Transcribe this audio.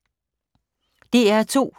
DR2